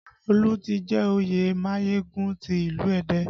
Olu tí jẹ òye Mayegun ti ilu Ẹdẹ